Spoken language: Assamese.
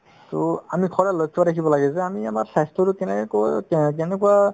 to আমি সদায় লক্ষ্য ৰাখিব লাগে যে আমি আমাৰ স্বাস্থ্যতো কেনেকেকৈ আহ্ কেনেকুৱা